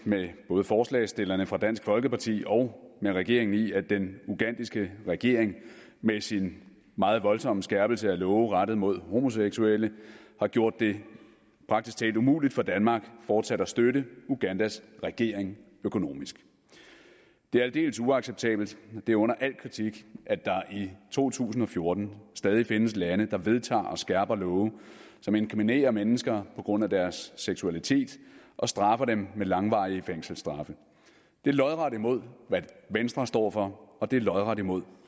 med både forslagsstillerne fra dansk folkeparti og med regeringen i at den ugandiske regering med sin meget voldsomme skærpelse af love rettet mod homoseksuelle har gjort det praktisk talt umuligt for danmark fortsat at støtte ugandas regering økonomisk det er aldeles uacceptabelt det er under al kritik at der i to tusind og fjorten stadig findes lande der vedtager og skærper love som inkriminerer mennesker på grund af deres seksualitet og straffer dem med langvarige fængselsstraffe det er lodret imod hvad venstre står for og det er lodret imod